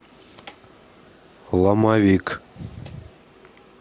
ломовик